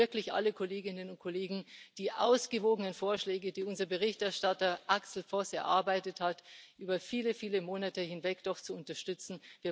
Ich bitte wirklich alle Kolleginnen und Kollegen, die ausgewogenen Vorschläge, die unser Berichterstatter Axel Voss über viele, viele Monate hinweg erarbeitet hat, doch zu unterstützen.